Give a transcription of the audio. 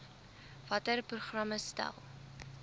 watter programme stel